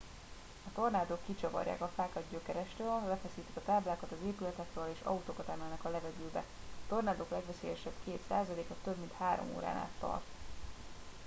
a tornádók kicsavarják a fákat gyökerestől lefeszítik a táblákat az épületekről és autókat emelnek a levegőbe a tornádok legveszélyesebb két százaléka több mint három órán át tart